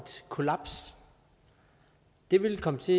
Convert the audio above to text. kollaps det vil komme til